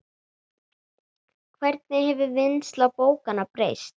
Hvernig hefur vinnsla bókanna breyst?